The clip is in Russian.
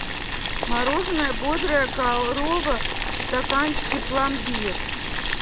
мороженое бодрая корова в стаканчике пломбир